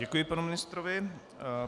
Děkuji panu ministrovi.